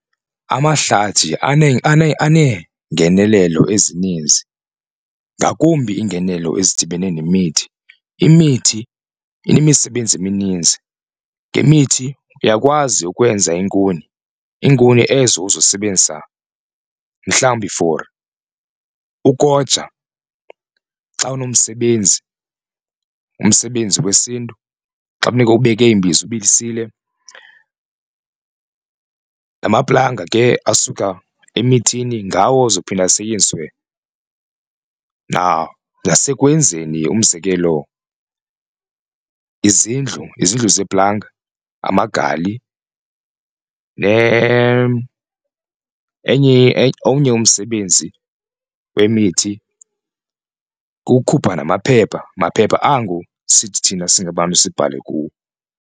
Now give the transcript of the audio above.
Amahlathi aneengenelelo ezininzi ngakumbi iingenelo ezidibene nemithi. Imithi inemisebenzi emininzi. Ngemithi uyakwazi ukwenza iinkuni iinkuni ezo uzosebenzisa mhlawumbi for ukoja xa unomsebenzi, umsebenzi wesiNtu xa kunikwa ubeke iimbiza ubilise. Namaplanga ke asuka emithini ngawo ozophinde asetyenziswe nasekwenzeni umzekelo izindlu, izindlu zeplanga, amagali . Enye omnye umsebenzi wemithi kukukhupha namaphepha, maphepha ango sithi thina singabantu sibhale kuwo.